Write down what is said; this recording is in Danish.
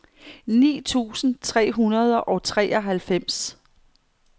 ni tusind tre hundrede og treoghalvfems